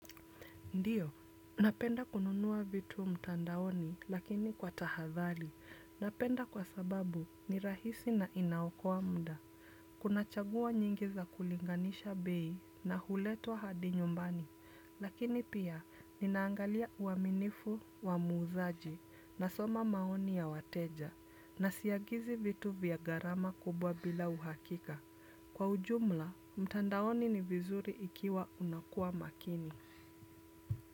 Ndiyo, napenda kununua vitu mtandaoni lakini kwa tahadhari, napenda kwa sababu ni rahisi na inaokoa muda. Kuna chaguo nyingi za kulinganisha bei na huletwa hadi nyumbani, lakini pia ninaangalia uaminifu wa muuzaji nasoma maoni ya wateja, na siagizi vitu vya gharama kubwa bila uhakika. Kwa ujumla, mtandaoni ni vizuri ikiwa unakuwa makini.